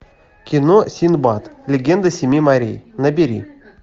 кино синдбад легенда семи морей набери